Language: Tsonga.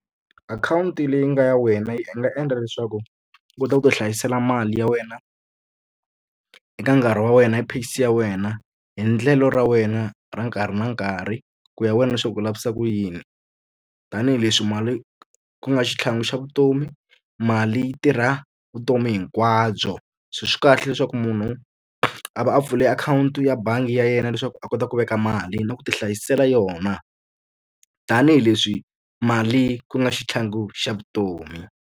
Akhawunti leyi nga ya wena yi nga endla leswaku u kota ku ti hlayisela mali ya wena eka nkarhi wa wena, hi pace ya wena, hi endlelo ra wena ra nkarhi na nkarhi, ku ya wena leswaku u lavisisa ku yini. Tanihi leswi mali ku nga xitlhangu xa vutomi, mali yi tirha vutomi hinkwabyo. So swi kahle leswaku munhu a va a pfule akhawunti ya bangi ya yena leswaku a kota ku veka mali na ku ti hlayisela yona. Tanihi leswi mali ku nga xitlhangu xa vutomi.